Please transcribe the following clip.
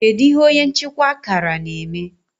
kedu ihe onye nchịkwa akara na-eme